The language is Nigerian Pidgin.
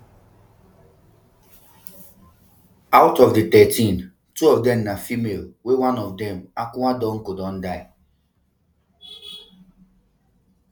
out of di thirteen two of dem na females wey one of dem akua donkor don die